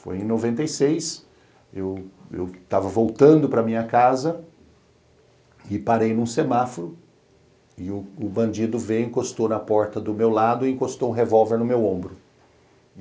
Foi em noventa e seis, eu eu estava voltando para minha casa, e parei num semáforo, e o bandido veio, encostou na porta do meu lado e encostou um revólver no meu ombro.